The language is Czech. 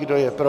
Kdo je pro?